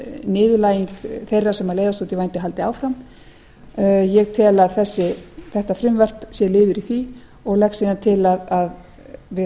niðurlæging þeirra sem leiðast út í vændi haldi áfram ég tel að þetta frumvarp sé liður í því og legg síðan til við